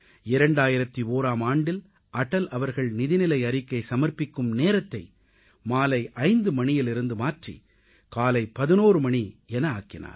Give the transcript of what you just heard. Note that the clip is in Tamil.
2001ஆம் ஆண்டில் அடல் அவர்கள் நிதிநிலை அறிக்கை சமர்ப்பிக்கும் நேரத்தை மாலை 5 மணியிலிருந்து மாற்றி காலை 11 மணி என ஆக்கினார்